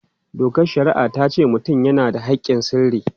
Dokar shari'a ta ce mutum yana da haƙƙin sirri.